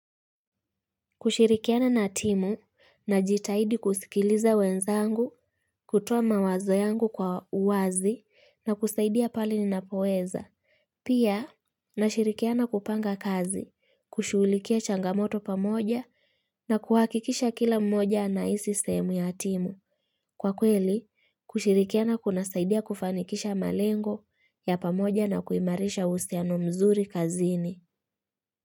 Kushirikiana na timu na jitahidi kusikiliza wenzangu, kutoa mawazo yangu kwa uwazi na kusaidia pale ninapoweza. Pia, nashirikiana kupanga kazi, kushughulikia changamoto pamoja na kuhakikisha kila mmoja ana hisi sehemu ya timu. Kwa kweli, kushirikiana kuna saidia kufanikisha malengo ya pamoja na kuimarisha uhusiano mzuri kazini.